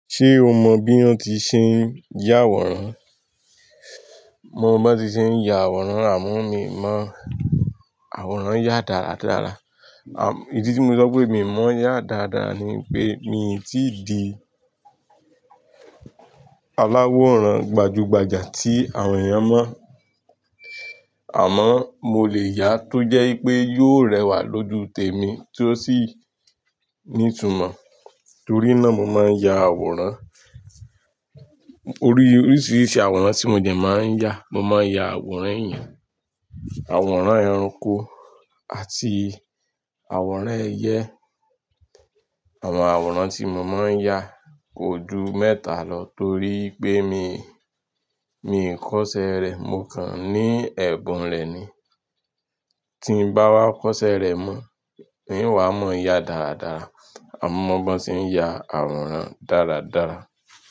Ṣé o mọ bí wọ́n ti ṣe ń yà àwòrán? Mo mọ bí wọ́n ti ṣe ń ya àwòrán àmọ́ mi ò mọ̀ àwòrán ya dáradára. À, ìdí tí mo sọ pé èmi mọ̀ yá dáradára ni pé mi ò tí di aláwòrán gbajúgbajà tí àwọn èèyàn mọ̀. Àmọ́ mo lè yà tó jẹ́ pé yóò rẹwà lójú tèmi tí ó sì ní ìtumọ̀. Torí náà mo máa ń ya àwòrán. Orí oríṣiríṣi àwòrán tí mo dẹ máa ń ya, mo máa ń ya àwòrán èèyàn, àwòrán ẹranko àti àwòrán ẹyẹ. Àwọn àwòrán tí mo máa ń ya kò ju mẹ́ta lọ torí pé mi, mi kò iṣẹ̀ rẹ́, mo kàn ní ẹ̀bùn rẹ̀ ni. Tí n bá wá kọ́ṣẹ́ rẹ̀ mọ̀ in wa mọ̀ yá dáradára. Àmọ́ mo mọ bí wọ́n ti ń ya àwòrán dáradára.